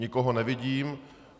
Nikoho nevidím.